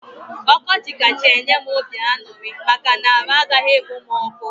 Ọkọchị kacha enye m obi aṅụrị maka na arụ agaghị ekpom ọkụ